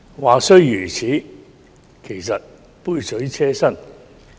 話雖如此，但這些調整其實只是杯水車薪。